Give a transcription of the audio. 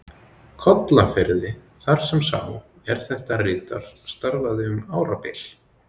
Kollafirði, þar sem sá, er þetta ritar, starfaði um árabil.